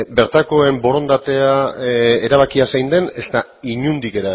bertakoen borondatea erabakia zein den ezta inondik